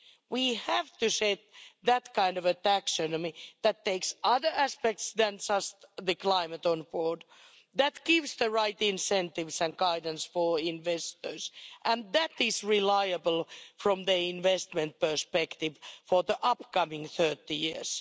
We have to set that kind of a taxonomy that takes other aspects other than just climate on board, that gives the right incentives and guidance for investors and that is reliable from the investment perspective for the upcoming 30 years.